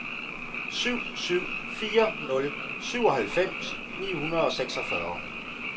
syv syv fire nul syvoghalvfems ni hundrede og seksogfyrre